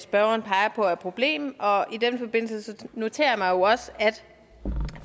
spørgeren peger på af problem og i den forbindelse noterer jeg mig jo også at